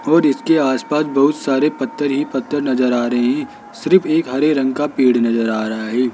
और इसके आस पास बहुत सारे पत्थर ही पत्थर नजर आ रहे हैं सिर्फ एक हरे रंग का पेड़ नजर आ रहा है।